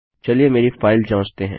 चलिए मेरी फाइल जाँचते हैं